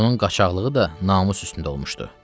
Onun qaçaqlığı da namus üstündə olmuşdu.